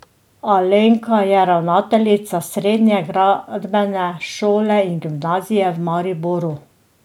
Alenka je ravnateljica Srednje gradbene šole in gimnazije v Mariboru.